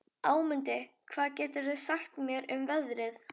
Ámundi, hvað geturðu sagt mér um veðrið?